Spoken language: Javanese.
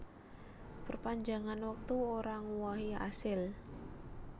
Perpanjangan wektu ora ngowahi asil